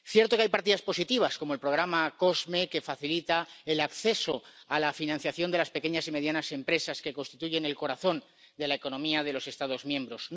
Es cierto que hay partidas positivas como el programa COSME, que facilita el acceso a la financiación de las pequeñas y medianas empresas, que constituyen el corazón de la economía de los Estados miembros.